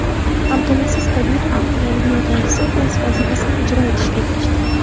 Abdulaziz Kamilovning yangi yordamchisi o‘z vazifasini ijro etishga kirishdi.